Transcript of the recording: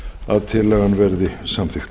að tillagan verði samþykkt